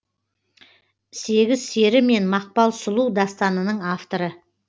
сегіз сері мен мақпал сұлу дастанының авторы